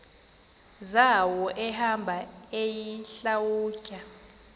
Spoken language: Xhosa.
zawo ehamba eyihlalutya